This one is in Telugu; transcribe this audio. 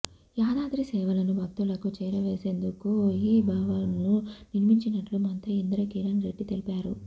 యాదాద్రి సేవలను భక్తులకు చేరువచేసేందుకే ఈ భవన్ను నిర్మించినట్లు మంత్రి ఇంద్రకరణ్ రెడ్డి తెలిపారు